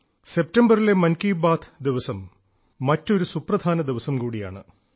സെപ്റ്റംബറിലെ മൻ കി ബാത്ത് ദിവസം മറ്റൊരു സുപ്രധാന ദിവസം കൂടിയാണ്